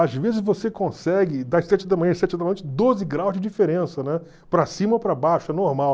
às vezes você consegue, das sete da manhã às sete da noite, doze graus de diferença, né, para cima ou para baixo, é normal.